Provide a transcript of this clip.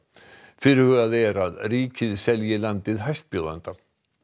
fyrirhugað er að ríkið selji landið hæstbjóðanda